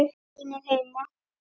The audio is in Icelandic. Það eru allir vinir heima.